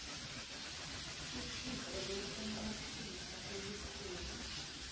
iphiko lokunqophisa elikhulu